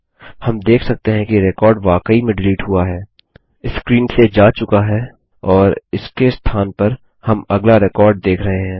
हम देख सकते हैं रिकॉर्ड वाकई में डिलीट हुआ है स्क्रीन से जा चुका है और इसके स्थान पर हम अगला रिकॉर्ड देख रहे हैं